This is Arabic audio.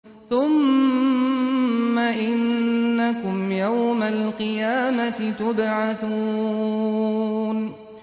ثُمَّ إِنَّكُمْ يَوْمَ الْقِيَامَةِ تُبْعَثُونَ